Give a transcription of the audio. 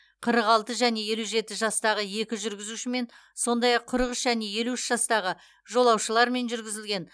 қырық алты және елу жеті жастағы екі жүргізушімен сондай ақ қырық үш және елу үш жастағы жолаушылармен жүргізілген